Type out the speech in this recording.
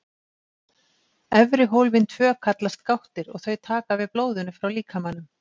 Efri hólfin tvö kallast gáttir og þau taka við blóðinu frá líkamanum.